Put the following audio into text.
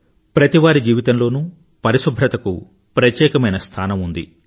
ప్రతివారి జీవితంలోనూ పరిశుభ్రతకు ప్రత్యేకమైన స్థానం ఉంది